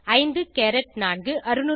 54